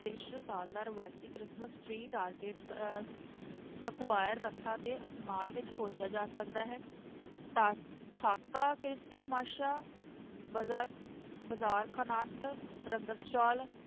ਦ੍ਰਿਸ਼ ਸਾਲ ਦਾ ਰਵਾਇਤੀ ਕ੍ਰਿਸਮਸ tree target ਅਹ ਤੇ ਆਸਮਾਨ ਵਿੱਚ ਖੋਜਿਆ ਜਾ ਸਕਦਾ ਹੈ ਬਾਜਾ~ ਬਾਜ਼ਾਰ ਰੰਗਤ ਸੋਲ